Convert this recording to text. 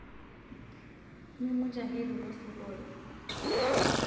mimutie ake eitu ilo sukuul